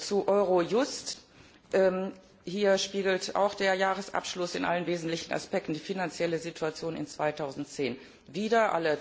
Zu Eurojust Hier spiegelt auch der Jahresabschluss in allen wesentlichen Aspekten die finanzielle Situation im Jahr 2010 wider.